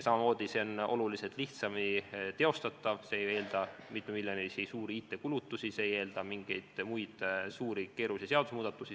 See variant on ka oluliselt lihtsamini teostatav, see ei eelda mitmemiljonilisi IT-kulutusi, see ei eelda suuri keerulisi seadusemuudatusi.